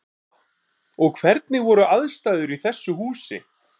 Lóa: Og hvernig voru aðstæður í þessu húsi?